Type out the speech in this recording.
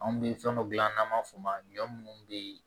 Anw bɛ fɛn dɔ gilan n'an b'a f'o ma ɲɔ minnu be yen